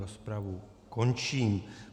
Rozpravu končím.